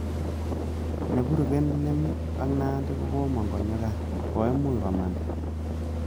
Neburuken lem ak nandi ko komong konyogaaa .koimuch komanda